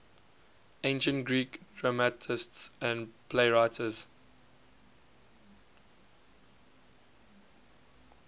ancient greek dramatists and playwrights